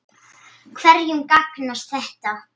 Hverjum gagnast þetta?